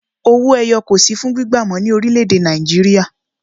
Owó ẹyọ kò sì fún gbígba mọ ní orílè èdè Nàìjíríà